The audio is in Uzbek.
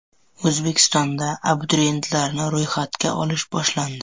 O‘zbekistonda abituriyentlarni ro‘yxatga olish boshlandi.